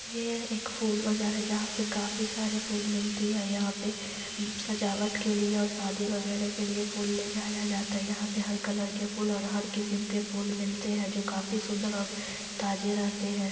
ये एक फूल बाजार है जहां पे काफी सारी फूल मिलती है और यहाँ पे सजावट के लिए और शादी वगैरे के लिए फूल ले जाया जाता है। यहाँ पे हर कलर के फूल और हर किसम के फूल मिलते है जो काफी सुंदर और ताजे रहते हैं।